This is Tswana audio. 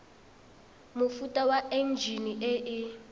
mofuta wa enjine e e